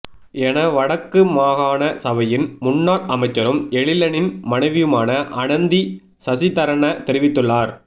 என வடக்கு மாகாண சபையின் முன்னாள் அமைச்சரும் எழிலனின் மனைவியுமான அனந்தி சசிதரன தெரிவித்துள்ளார்